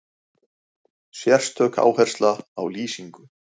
Sérstök áhersla á lýsingu.